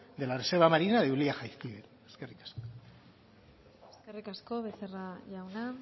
de la reserva marina de ulia jaizkibel eskerrik asko eskerrik asko becerra jauna